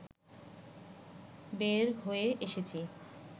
বের হয়ে এসেছি